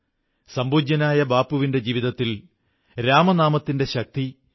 ദസറയുടെ ഈ പുണ്യദിനം അസത്യത്തിനുമേൽ സത്യത്തിന്റെ വിജയത്തിന്റെ പുണ്യദിനമാണ്